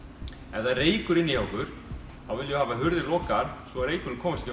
ef það er reykur inni hjá okkur þá viljum við hafa hurðir lokaðar svo reykurinn komist